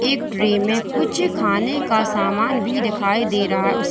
एक ट्रे में कुछ खाने का सामान भी दिखाई दे रहा है उस--